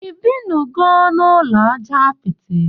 Ibinugo na ụlọ aja apiti?